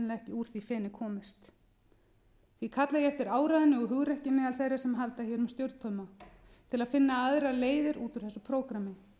úr því feni komist því kalla ég eftir áræði og hugrekki meðal þeirra sem halda hér um stjórnartauma til að finna aðrar leiðir út úr þessu prógrammi